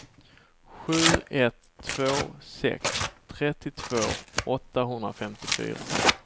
sju ett två sex trettiotvå åttahundrafemtiofyra